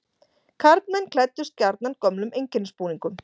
Karlmenn klæddust gjarnan gömlum einkennisbúningum.